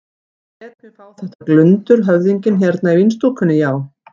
Hann lét mig fá þetta glundur höfðinginn hérna í vínstúkunni, já.